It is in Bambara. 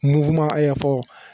Muguma fɔ